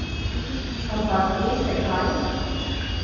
Ampak, veste kaj?